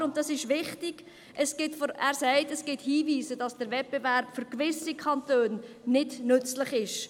Allerdings sagt er – und dies ist wichtig –, es gebe Hinweise, wonach der Wettbewerb für gewisse Kantone nicht nützlich sei.